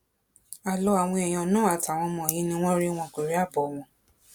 àlọ àwọn èèyàn náà àtàwọn ọmọ yìí ni wọn rí wọn kò rí àbọ wọn